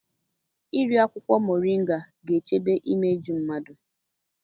Iri akwụkwọ mọrịnga ga-echebe imeju mmadụ.